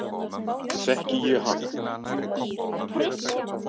Þekki ég hann?